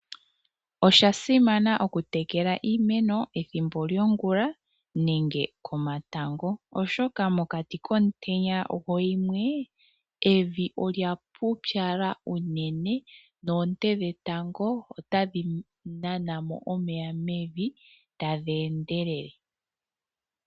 Osha simana okutekela iimeno ethimbo lyongula nenge komatango oshoka mokati komutenya goyimwe evi olya pupyala unene noonte dhetango otadhi nana mo omeya mevi tadhi endelele.